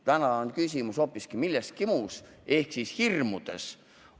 Täna on küsimus hoopis milleski muus ehk hirmudes.